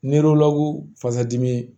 fasadimi